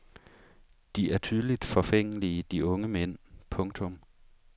De er tydeligt forfængelige de unge mænd. punktum